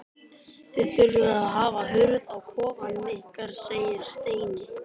Þið þurfið að hafa hurð á kofanum ykkar segir Steini.